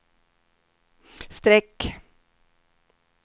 streck